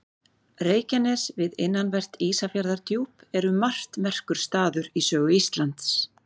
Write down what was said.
Reykjanes við innanvert Ísafjarðardjúp er um margt merkur staður í sögu Íslands.